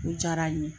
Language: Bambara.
O diyara n ye